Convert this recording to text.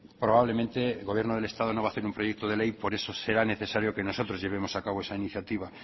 probablemente el gobierno del estado no va a hacer un proyecto de ley por eso será necesario que nosotros llevemos a cabo esa iniciativa